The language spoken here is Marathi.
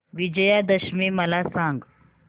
विजयादशमी मला सांग